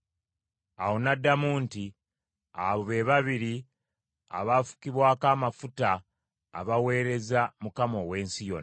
Awo n’addamu nti, “Abo be babiri abaafukibwako amafuta abaweereza Mukama ow’ensi yonna.”